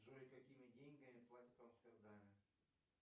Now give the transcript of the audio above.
джой какими деньгами платят в амстердаме